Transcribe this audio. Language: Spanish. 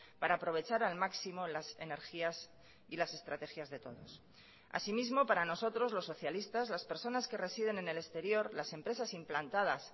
para aprovechar al máximo las energías y las estrategias de todos así mismo para nosotros los socialistas las personas que residen en el exterior las empresas implantadas